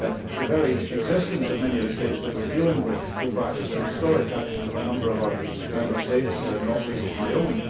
The very existence of many of the states we are dealing with goes back to the historic actions of a number of our Member States, not least my own.